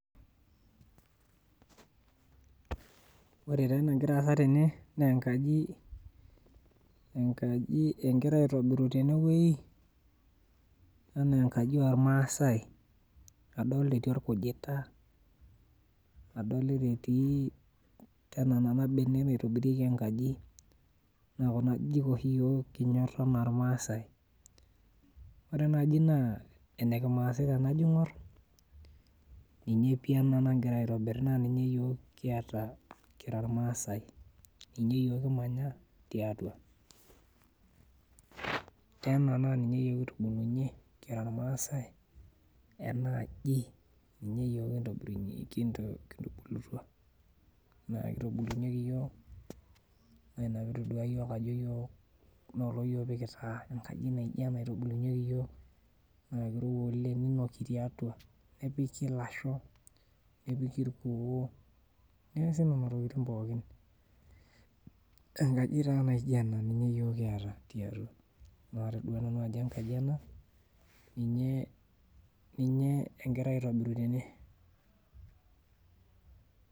Ore taa enegira aasa tene, nenkaji enkaji egirai aitobiru tenwoi, enaa enkaji ormaasai. Adolta etii orkujita, adolita etii tena nena benek naitobirieki enkaji, na kuna ajijik oshi yiok kinyor enaa irmaasai. Ore enaji naa ene kimaasai tenajo aing'or, ninye pi ena nagirai aitobir na ninye kiata kira irmaasai. Ninye yiok kimanya tiatua. Tena na ninye yiok kitubulunye kira irmaasai, enaaji ninye yiok kitubulutua, kitubulunyeki yiok, na ina pitodua yiok ajo yiok lolo yiok pikitaa, enkaji naijo ena itubulunyeki yiok na kirowua oleng, ninoki tiatua, nepiki lasho, nepiki irkuo, neesi nena tokiting pookin. Enkaji taa naija ena ninye yiok kiata tiatua. Natodua nanu ajo enkaji ena, ninye egirai aitobiru tene.